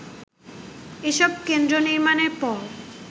এসব কেন্দ্র নির্মাণের পর